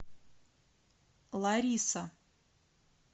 лариса